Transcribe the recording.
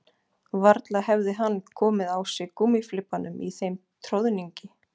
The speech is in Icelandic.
Varla hefði hann komið á sig gúmmíflibbanum í þeim troðningi